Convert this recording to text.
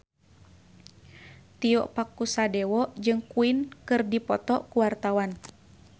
Tio Pakusadewo jeung Queen keur dipoto ku wartawan